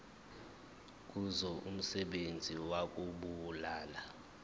kuzo umsebenzi wokubulala